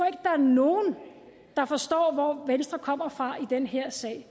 er nogen der forstår hvor venstre kommer fra i den her sag